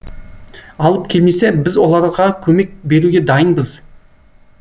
алып келмесе біз оларға көмек беруге дайынбыз